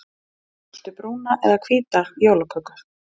Viltu brúna eða hvíta jólaköku?